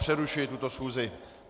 Přerušuji tuto schůzi.